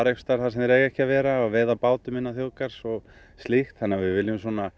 staðar þar sem þeir eiga ekki að vera og veiða á bátum innan þjóðgarðs og slíkt þannig að við viljum